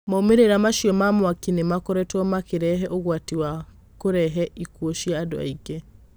Maumirirwo macio ma mwaki nĩ makoretwo makĩreve ũgwati na kureve ikuo cia andũ aingĩ.